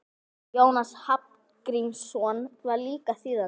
Jónas Hallgrímsson var líka þýðandi.